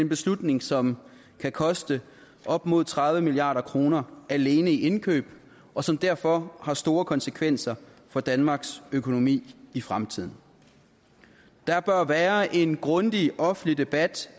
beslutning som kan koste op mod tredive milliard kroner alene i indkøb og som derfor har store konsekvenser for danmarks økonomi i fremtiden der bør være en grundig offentlig debat